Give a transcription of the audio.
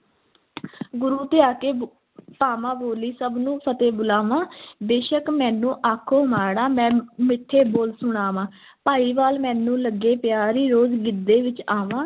ਗੁਰੂ ਧਿਆ ਕੇ ਪਾਵਾਂ ਬੋਲੀ, ਸਭ ਨੂੰ ਫ਼ਤਹਿ ਬੁਲਾਵਾਂ ਬੇਸ਼ੱਕ ਮੈਨੂੰ ਆਖੋ ਮਾੜਾਂ, ਮੈਂ ਮਿੱਠੇ ਬੋਲ ਸੁਣਾਵਾਂ, ਭਾਈਵਾਲ ਮੈਨੂੰ ਲੱਗੇ ਪਿਆਰੀ, ਰੋਜ਼ ਗਿੱਧੇ ਵਿੱਚ ਆਵਾਂ।